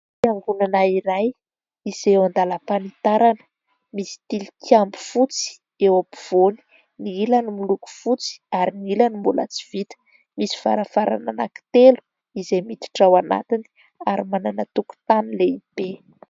Fiangonana iray izay eo an-dalam-panitarana, misy tilikambo fotsy eo ampovoany. Ny ilany miloko fotsy ary ny ilany mbola tsy vita. Misy varavarana anankitelo izay miditra ao anatiny ary manana tokotany lehibe.